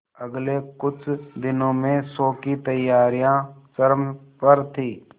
अगले कुछ दिनों में शो की तैयारियां चरम पर थी